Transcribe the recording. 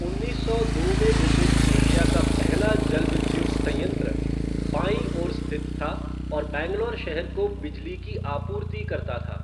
उन्नीस सौ दो में निर्मित एशिया का पहला जलविद्युत संयंत्र बाईं ओर स्थित था और बैंगलोर शहर को बिजली की आपूर्ति करता था।